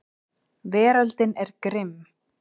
Veröldin er grimm.